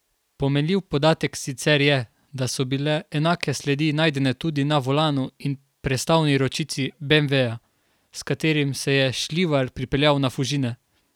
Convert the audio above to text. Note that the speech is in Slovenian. Pomenljiv podatek sicer je, da so bile enake sledi najdene tudi na volanu in prestavni ročici beemveja, s katerim se je Šljivar pripeljal na Fužine.